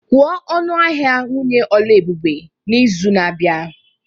Kwuo ọnụ ahịa nwunye Oluebube n'izu na-abịa